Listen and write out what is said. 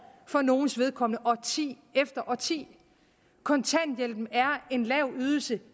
for nogles vedkommende årti efter årti kontanthjælpen er en lav ydelse